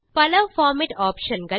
பல formatting options